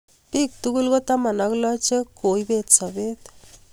Biik tugul ko taman ak loo che koibet sabet.